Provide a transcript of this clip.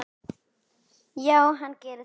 Já, hann gerir það